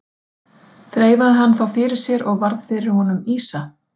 Þreifaði hann þá fyrir sér og varð fyrir honum ýsa.